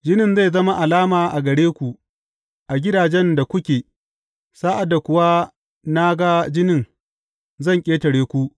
Jinin zai zama alama a gare ku, a gidajen da kuke; sa’ad da kuwa na ga jinin, zan ƙetare ku.